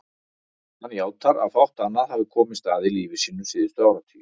Hann játar að fátt annað hafi komist að í lífi sínu síðustu áratugi.